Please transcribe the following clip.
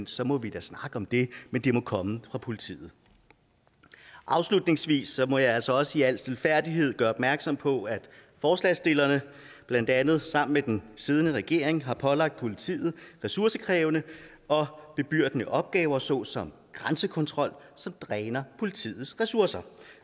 så må vi da snakke om det men det må komme fra politiet afslutningsvis må jeg altså også i al stilfærdighed gøre opmærksom på at forslagsstillerne blandt andet sammen med den siddende regering har pålagt politiet ressourcekrævende og bebyrdende opgaver såsom grænsekontrol som dræner politiets ressourcer